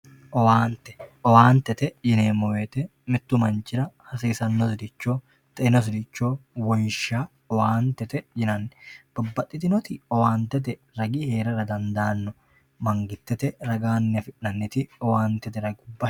owaante owaantete yineemo woyiite mittu manchira hasisannosiricho xeinosiricho wonshsha owaantete yinanni babbaxitinoti owaantete ragi heerara dandaanomangitete ragaanni afi'nanniti owaanteete ragubba no.